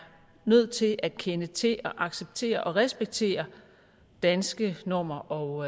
nødt til at kende til og acceptere og respektere danske normer og